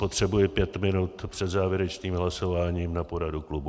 Potřebuji pět minut před závěrečným hlasováním na poradu klubu.